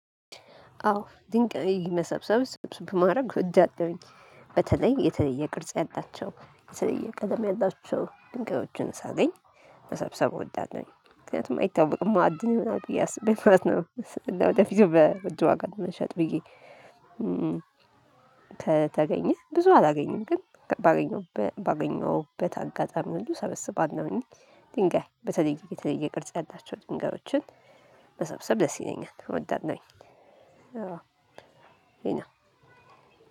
አዎ ድንቅ መሰብሰብ ስብስብ ማድረግ ወዳለሁኝ በተለይ የተለየ ቅርጽ ያላቸው የተለየ ቀለም ያላቸው ድንጋዮችን ሳገኝ መሰብሰብ እወዳለሁ ምክንያቱም አይታወቅም ማዕድን ይሆናል ብዬ አስቤ እፍረት ነው ለወደፊቱ በውድ ዋጋ ለመሸጥ ብዬ ከተገኘ ብዙ አላገኘም ግን ባገኘሁበት አጋጣሚ ሁሉ ሰበስባለሁኝ። ድንጋይ በተለይ የተለየ ቅርጽ ያላቸው ድንጋዮችን መሰብሰብ ደስ ይለኛል እወዳለሁኝ ይሄ ነው።